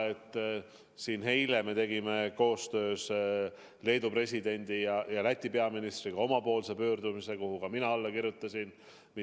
Eile me tegime koostöös Leedu presidendi ja Läti peaministriga omapoolse pöördumise, millele ka mina kirjutasin alla.